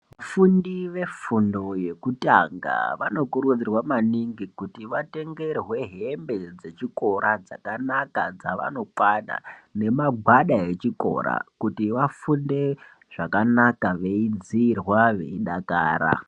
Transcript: Vafundi vefundo yekutanga vanokurudzirwa maningi kuti vatengerwe hembe dzechikora dzakanaka dzavanokwana nemagwada echikora kuti vafunde zvakanaka veidziirwa veidakara.